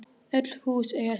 Öll hús eiga sér sögu.